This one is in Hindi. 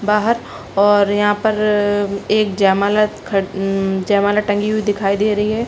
बाहर और यहाँ पर एक जयमाला खड़ म-म जयमाला टंगी हुई दिखाई दे रही है।